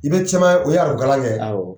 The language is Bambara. I bɛ caman o ye arabu kalan kɛ, awɔ.